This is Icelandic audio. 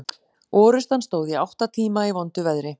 Orrustan stóð í átta tíma í vondu veðri.